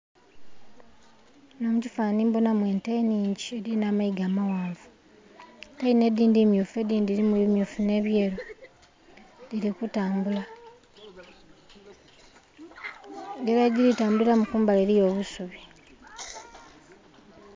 Muno mukifanani mbonamu ente nnhingi edhiri n'amayiga amaghanvu, ente dhino edhindhi mmyufu edhindhi dhirimu emmyufu n'ebyeru dhiri kutambula engira yedhiri tambuliramu kumbali eriyo obusubi.